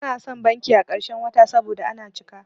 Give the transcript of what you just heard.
Bana son zuwa banki a ƙarshen wata saboda ana cika.